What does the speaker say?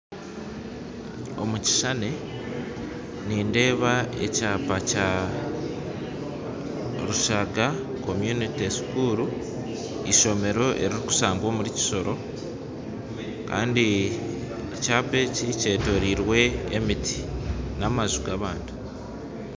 Omukishushani nindeeba ekyaapa Kya Rushaga community school eishomero erirukushangwa omuri kisoro Kandi ekyaapa eki kyetoroirwe emiti n'amaju g'abantu.